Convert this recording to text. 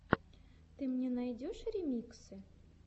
ты мне найдешь ремиксы